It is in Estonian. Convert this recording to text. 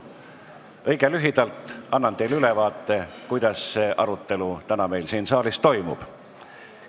Annan teile õige lühidalt ülevaate, kuidas see arutelu täna siin saalis toimub.